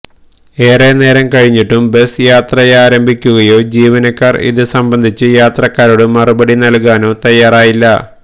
ഏറെ നേരം കഴിഞ്ഞിട്ടും ബസ് യാത്രയാരംഭിക്കുകയോ ജീവനക്കാർ ഇത് സംബന്ധിച്ച് യാത്രക്കാരോട് മറുപടി നൽകാനോ തയാറായില്ല